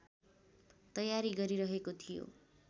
तयारी गरिरहेको थियो